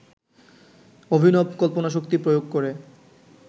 অভিনব কল্পনাশক্তি প্রয়োগ করে